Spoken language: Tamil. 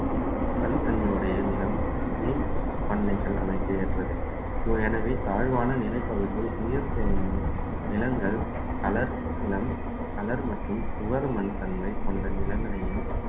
தனித்தன்மையுடைய நிலம் வீண் பண்ணைகள் அமைக்க ஏற்றது எனவே தாழ்வான நிலைப்பகுதியில் நீர் தேங்கும் நிலங்கள் colour நிலம் colour மற்றும் மண் தன்மை கொண்ட நிலங்களையும்